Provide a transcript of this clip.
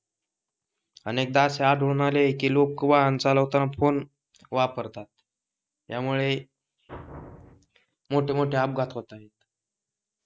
अनेकदा असे आढळून आले आहे की लोक वाहन चालवताना फोन वापरतात यामुळे मोठेमोठे अपघात होत आहे